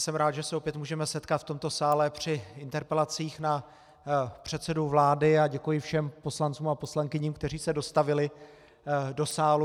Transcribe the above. Jsem rád, že se opět můžeme setkat v tomto sále při interpelacích na předsedu vlády, a děkuji všem poslancům a poslankyním, kteří se dostavili do sálu.